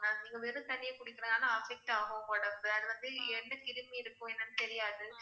நீங்க வெறும் தண்ணீய குடிக்கிறதுனால affect ஆகும் உடம்பு. அது வந்து எந்தக் கிருமி இருக்கும் என்னன்னு தெரியாது.